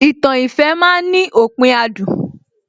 Ìtàn ìfẹ́ ma ń ní òpin adùn